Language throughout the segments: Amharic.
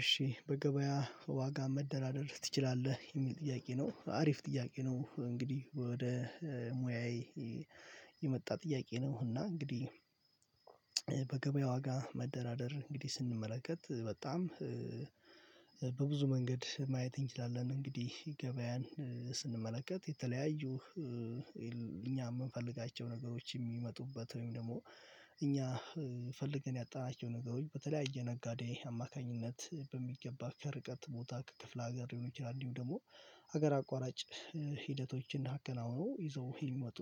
እሺ በገበያ ዋጋ መደራደር ትችላለህ የሚል ጥያቄ ነው አሪፍ ጥያቄ ነው። እንግዲህ ወደ ሙያዬ የመጣ ጥያቄ ነው። እና እንግዲህ በገበያ ዋጋ መደራደር እንግዲህ ስንመለከት በጣም በብዙ መንገድ ማየት እንችላለን። እንግዲህ ገበያን ስንመለከት የተለያዩ እኛ የምንፈልጋቸው ነገሮች የሚመጡበት ወይም ደግሞ እኛ ፈልገን ያጣናቸው ነገሮች በተለያየ ነጋዴ አማካኝነት በሚገባ ከርቀት ቦታ ከክፍለ ሀገር የሆኑ ጀራኒው ደግሞ ሀገር አቋራጭ ሂደቶችን አከናውኖ ይዘው ይመጡ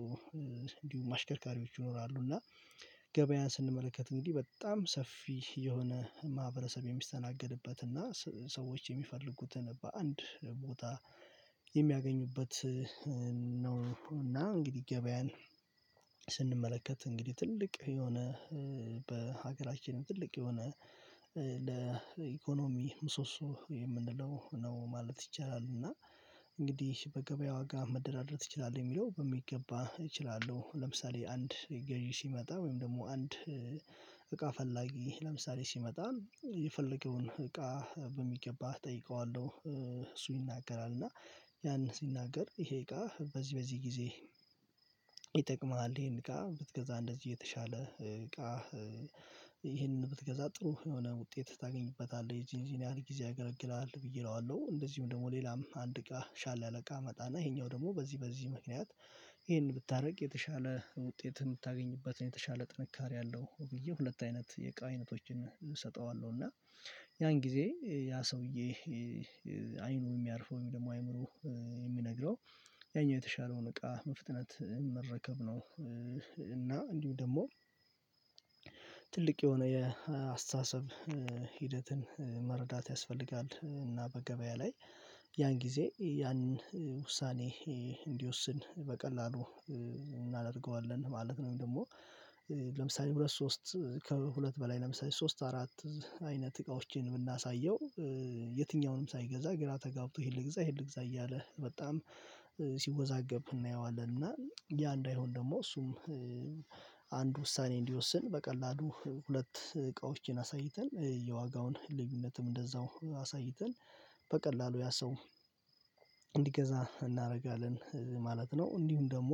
እንዲሁም አሽከርካሪዎች ይኖራሉ። እና ገበያን ስንመለከት እንግዲህ በጣም ሰፊ የሆነ ማህበረሰብ የሚስተናገድበት እና ሰዎች የሚፈልጉትን በአንድ ቦታ የሚያገኙበት ነው። እና እንግዲህ ገበያን እንግዲህ ትልቅ የሆነ በሀገራችንም ትልቅ የሆነ ለኢኮኖሚ ምሶሶ የምንለው ነው ማለት ይቻላል። እና እንግዲህ በገበያ ዋጋ መደራደር እችላለሁ የሚለው በሚገባ እችላለሁ። ለምሳሌ አንድ ገዢ ሲመጣ ወይም ደግሞ አንድ እቃ ፈላጊ ለምሳሌ ሲመጣ የፈለገውን እቃ በሚገባ እጠይቀዋለሁ። እሱ ይናገራል እና ያን ሲናገር ይሄ እቃ በዚህ በዚህ ጊዜ ይጠቅምሃል ይሄን እቃ ብትገዛ እንደዚህ የተሻለ እቃ ይሄንን ብትገዛ ጥሩ የሆነ ውጤት ታገኝበታለህ የዚህን ያህል ጊዜ ያገለግላል ብዬ እለዋለሁ። እንደዚሁም ደግሞ ሌላም አንድ እቃ ሻለ አለቃ አመጣና ይሄኛው ደግሞ በዚህ በዚህ ምክንያት ይሄን ብታደርግ የተሻለ ውጤት የምታገኝበትን የተሻለ ጥንካሬ አለው ብዬ ሁለት አይነት የቃይነቶችን እሰጠዋለሁ። እና ያን ጊዜ ያ ሰውዬ አይኑ የሚያርፈው ወይም ደግሞ አይምሮ የሚነግረው ያኛው የተሻለውን እቃ በመፍጥነት መረከብ ነው። እና እንዲሁ ደግሞ ትልቅ የሆነ የአስተሳሰብ ሂደትን መረዳት ያስፈልጋል። እና በገበያ ላይ ያን ጊዜ ያን ውሳኔ እንዲወስን በቀላሉ እናደርገዋለን ማለት ነው። ወይም ደግሞ ለምሳሌ ሁለት ሶስት ከሁለት በላይ ለምሳሌ ሶስት አራት አይነት እቃዎችን የምናሳየው የትኛውንም ሳይገዛ ግራ ተጋብቶ ይሄን ልግዛ ይሄን ልግዛ እያለ በጣም ሲወዛገብ እናየዋለን። እና ያ እንዳይሆን ደግሞ እሱም አንድ ውሳኔ እንዲወስን በቀላሉ ሁለት እቃዎችን አሳይተን የዋጋውን ልዩነትም እንደዛው አሳይተን በቀላሉ ያ ሰው እንዲገዛ እናደርጋለን ማለት ነው። እንዲሁም ደግሞ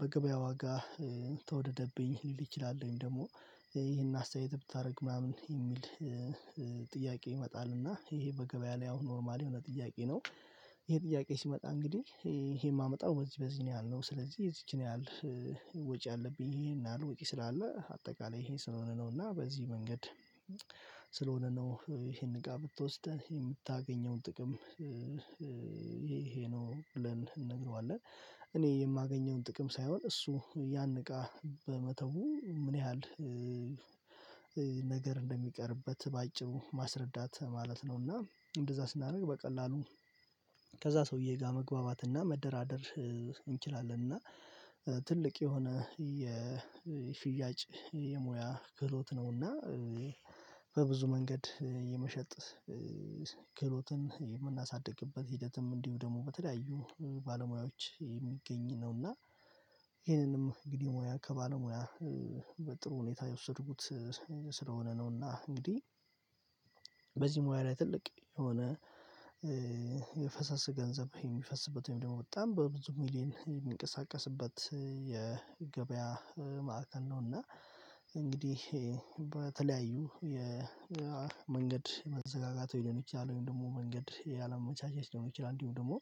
በገበያ ዋጋ ተወደደብኝ ሊል ይችላል ደግሞ ይሄን አስተያየት ብታደርግ ምናምን የሚል ጥያቄ ይመጣል። እና ይሄ በገበያ ላይ አሁን ኖርማል የሆነ ጥያቄ ነው። ይሄ ጥያቄ ሲመጣ እንግዲህ ይሄ የማመጣው በዚህ በዚህ ነው ያለው ስለዚህ የዚችን ያህል ወጪ አለብኝ ይሄን አለ ወጪ ስላለ አጠቃላይ ይሄ ስለሆነ ነው እና በዚህ መንገድ ስለሆነ ነው። ይሄን እቃ ብትወስደን የምታገኘውን ጥቅም ይሄ ነው ብለን እንነግረዋለን። እኔ የማገኘውን ጥቅም ሳይሆን እሱ ያን እቃ በመተው ምን ያህል ነገር እንደሚቀርበት ባጭሩ ማስረዳት ማለት ነው። እና እንደዛ ስናደርግ በቀላሉ ከዛ ሰውዬ ጋር መግባባትና መደራደር እንችላለንና ትልቅ የሆነ የሽያጭ የሙያ ክህሎት ነውና። በብዙ መንገድ የመሸጥ ክህሎትን የምናሳድግበት ሂደትም እንዲሁ ደግሞ በተለያዩ ባለሙያዎች የሚገኝ ነውና። ይህንንም እንግዲህ ሙያ ከባለሙያ በጥሩ ሁኔታ የወሰድኩት ስለሆነ ነውና። እንግዲህ በዚህ ሙያ ላይ ትልቅ የሆነ የፈሰስ ገንዘብ የሚፈስበት ወይም ደግሞ በጣም በብዙ ሚሊየን የሚንቀሳቀስበት ማዕከል ነውና። እንግዲህ በተለያዩ የመንገድ መዘጋጋት የሚሆነው ይችላል ወይም ደግሞ መንገድ የአለም መቻቻት ይሆነው ይችላል እንዲሁም ደግሞ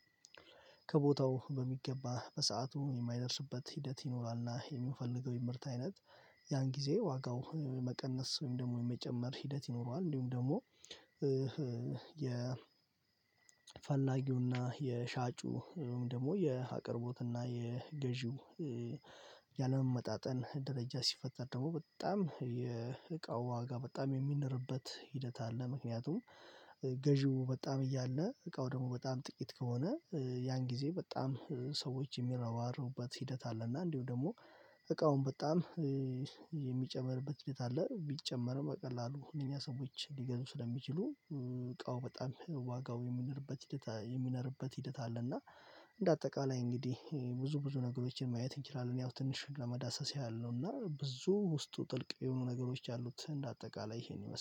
ከቦታው በሚገባ በሰአቱ የማይደርስበት ሂደት ይኖራልና የሚፈልገው የምርት አይነት ያን ጊዜ ዋጋው መቀነስ ወይም ደግሞ የመጨመር ሂደት ይኖረዋል። እንዲሁም ደግሞ የፈላጊውን እና የሻጩ ደግሞ የአቅርቦትና የገዢው ያለመመጣጠን ደረጃ ሲፈጠር ደግሞ በጣም የእቃው ዋጋ በጣም የሚነርበት ሂደት አለ። ምክንያቱም ገዢው በጣም እያለ እቃው ደግሞ በጣም ጥቂት ከሆነ ያን ጊዜ በጣም ሰዎች የሚረዋሩበት ሂደት አለ። እና እንዲሁ ደግሞ እቃውን በጣም የሚጨመርበት ሂደት አለ ቢጨመርም ቀላሉ ሁለተኛ ሰሞኑን ሊገዙ ስለሚችሉ እቃው በጣም ዋጋው የሚነርበት ሂደት የሚነርበት ሂደት አለ። እና እንደ አጠቃላይ እንግዲህ ብዙ ብዙ ነገሮችን ማየት እንችላለን። ያው ትንሽ ለመዳሰስ ያለው እና ብዙ ውስጡ ጥልቅ የሆኑ ነገሮች ያሉት እንደ አጠቃላይ ይሄን ይመስላል